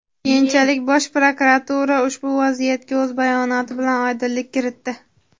Keyinchalik Bosh prokuratura ushbu vaziyatga o‘z bayonoti bilan oydinlik kiritdi.